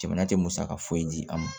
Jamana tɛ musaka foyi di an ma